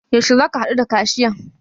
Yaushe zaka haɗu da kashiyan?